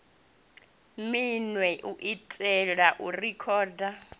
minwe u itela u rekhoda